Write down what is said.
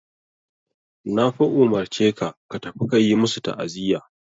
Na fa umurce ka ka tafi ka yi masu ta'aziya.